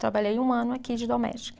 Trabalhei um ano aqui de doméstica.